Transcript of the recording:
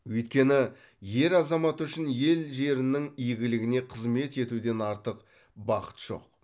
өйткені ер азамат үшін ел жерінің игілігіне қызмет етуден артық бақыт жоқ